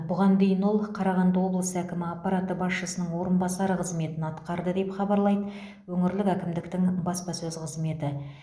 бұған дейін ол қарағанды облысы әкімі аппараты басшысының орынбасары қызметін атқарды деп хабарлайды өңірлік әкімдіктің баспасөз қызметі